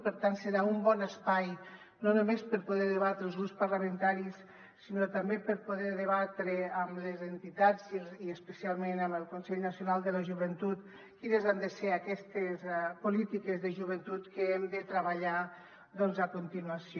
per tant serà un bon espai no només per poder debatre els grups parlamentaris sinó també per poder debatre amb les entitats i especialment amb el consell nacional de la joventut quines han de ser aquestes polítiques de joventut que hem de treballar a continuació